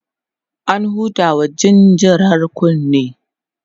an hudawa jinjirar kunne